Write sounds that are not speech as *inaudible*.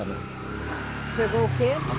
*unintelligible* Chegou o quê?